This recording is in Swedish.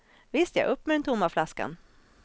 Visst ja, upp med den tomma flaskan.